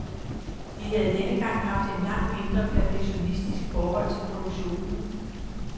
De havde denne gang haft et langt mindre perfektionistisk forhold til produktionen.